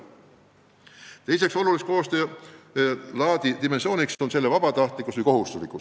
Teine oluline koostöö laadi dimensioon on selle vabatahtlikkus või kohustuslikkus.